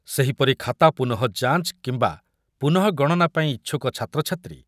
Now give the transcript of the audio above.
ସେହିପରି ଖାତା ପୁନଃଯାଞ୍ଚ କିମ୍ବା ପୁନଃଗଣନା ପାଇଁ ଇଚ୍ଛୁକ ଛାତ୍ରଛାତ୍ରୀ